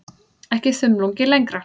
Ekki þumlungi lengra.